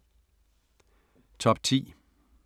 Top 10